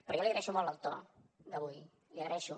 però jo li agraeixo molt el to d’avui l’hi agraeixo